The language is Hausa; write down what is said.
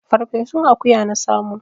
Farfesun akuya na samo.